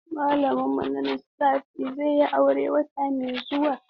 Malamin mu na Lissafi zai yi aure wata mai zuwa.